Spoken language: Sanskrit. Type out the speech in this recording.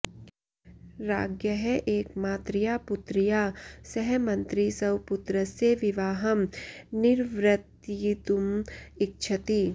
राज्ञः एकमात्रया पुत्र्या सह मन्त्री स्वपुत्रस्य विवाहं निर्वर्तयितुम् इच्छति